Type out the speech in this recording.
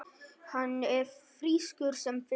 Hann er frískur sem fiskur.